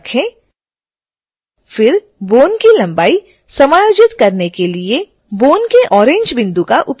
फिर bone की लंबाई समायोजित करने के लिए bone के orange बिंदु का उपयोग करें